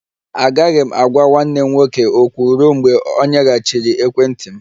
Agaghị m agwa nwanne m nwoke okwu ruo mgbe ọ nyeghachiri ekwentị m